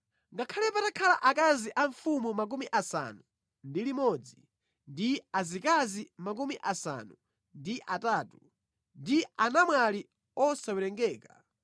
Ngakhale patakhala akazi a mfumu 60, ndi azikazi 80, ndi anamwali osawerengeka;